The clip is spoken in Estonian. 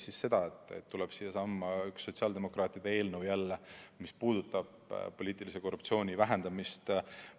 Siiasamasse tuleb üks sotsiaaldemokraatide eelnõu, mis puudutab poliitilise korruptsiooni vähendamist.